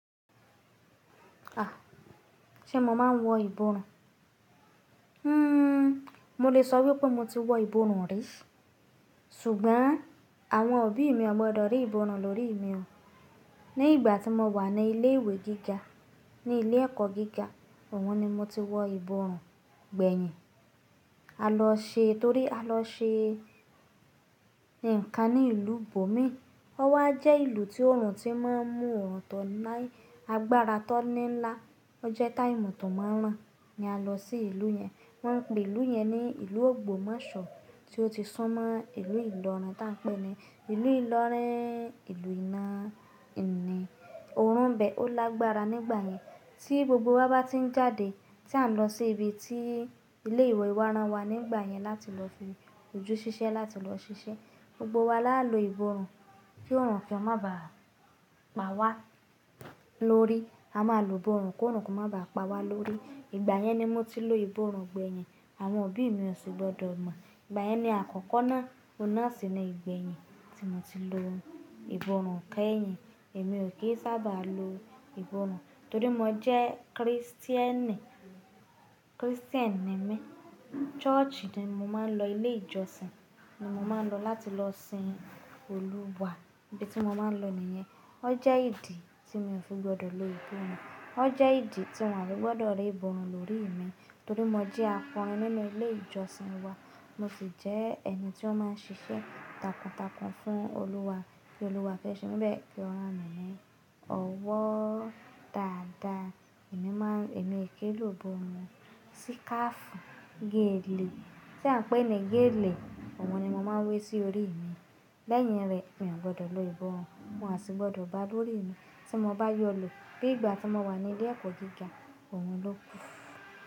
À, ṣe mo máa ń wọ ìborun hmm, mo lè sọ wípé mo ti wọ ìborun ri. Sùgbọ́n àwọn òbí mi ò gbọdọ̀ rí ìborun lórí i mi. Ní ìgbà tí mo wà ní ilé ìwé gíga, ní ilé ẹ̀kọ́ gíga, òun ni mo ti wọ ìborun gbẹ̀yìn. A lọ ṣe, torí a lọ ṣe nǹkan ní ìlú bomi ọ́ wá jẹ́ ìlú tí òòrùn ti máa ń mú ọ̀rọ̀ tọ́ láí, agbára tọ́ ní ńlá. Ó jẹ́ táìmù tó máa ń rán ni a lọ sí ìlú yẹn. Wọ́n ń pe ìlú yẹn ní ìlú Ògbómòṣọ̀, tí ó ti sún mọ ìlú Ìlọrin ta pẹ́ ni. Ìlú Ìlọrin, ìlú iná ìni. Òórùn bẹ, ó lágbára nígbà yẹn. Tí gbogbo wa bá ti ń jáde, tí a n lọ sí ibi tí ilé ìwé wá rán wa nígbà yẹn láti lọ fi ojú ṣiṣẹ́, láti lọ ṣiṣẹ́, gbogbo wa lá lo ìborun kí òòrùn ki orun o má ba pa wá lórí. A máa lo ìborun kí òrùn ko má ba pa wá lórí. Ìgbà yẹn ni mo ti lo ìborun gbẹ̀yìn, àwọn òbí mi ò ṣì gbọdọ̀ mọ̀. Ìgbà yẹn ni àkọ́kọ́ náà, ọ̀nà síni ìgbẹ̀yìn tí mo ti lo ìboràn kẹ́yìn. Èmi ò kí ń sábà lo ìborun torí mo jẹ́ Krìstìẹ́nì. Krìstìẹ́nì ni mi. Ṣọ́ọ̀ṣì ni mo máa ń lọ, ilé ìjọsìn ni mo máa ń lọ láti lọ sin Olúwa. Ibi tí mo máa ń lọ nìyẹn. Ó jẹ́ ìdí tí mo fi ò gbọdọ̀ lo ìborun ó jẹ́ ìdí tí wọ́n ò gbọdọ̀ rí ìborun lórí mi torí mo jẹ́ akọrin nínú ilé ìjọsìn wa. Mo sì jẹ́ ẹni tí ó máa ń ṣiṣẹ́ takuntakun fún Olúwa kí Olúwa fẹ́ ṣe míbẹ̀ ki o ranmilọwọ́ dáadáa. Èmi máa ń, èmi e ki lo ìborun síkáfù, gélẹ̀, tí a ń pè ẹ́ gélẹ̀, òun ni mo máa ń wé sí orí mi. Lẹ́yìn rẹ̀, mi ò gbọdọ̀ lo ìborun wọn ò sì gbọdọ̀ bá lórí mi. Tí mo bá yọ lọ, bí ìgbà tí mo wà ní ilé ẹ̀kọ́ gíga, òun ló.